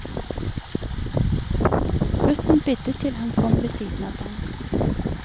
Gutten bidde til han kom ved siden av den.